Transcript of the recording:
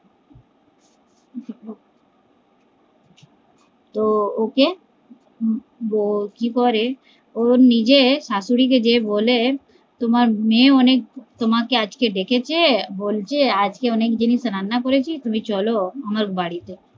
তো ওকে কি বলতে পারে ও নিজে শাশুড়ি কে গিয়ে বলে তোমার মেয়ে অনেক তোমাকে আজকে ডেকেছে বলছে আজকে অনেক জিনিস রান্না করেছি তুমি চলো আমার বাড়িতে